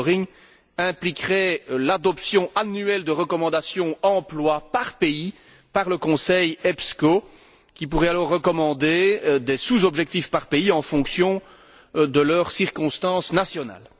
Ce suivi impliquerait l'adoption annuelle de recommandations emploi par pays par le Conseil EPSCO, qui pourrait alors recommander des sous objectifs par pays en fonction de leurs circonstances nationales.